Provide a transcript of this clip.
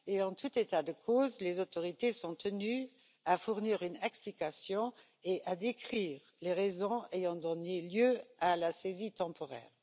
En tout état de cause, les autorités sont tenues de fournir une explication et de décrire les raisons ayant donné lieu à la saisie temporaire.